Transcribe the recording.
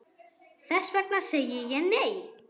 Þess vegna segi ég, nei!